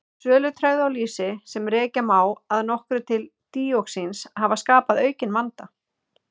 Sölutregðu á lýsi, sem rekja má að nokkru til díoxíns hafa skapað aukinn vanda.